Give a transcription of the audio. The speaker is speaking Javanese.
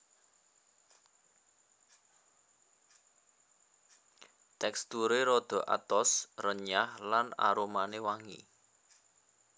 Teksturé rada atos renyah lan aromané wangi